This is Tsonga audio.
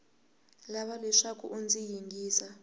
lava leswaku u ndzi yingisa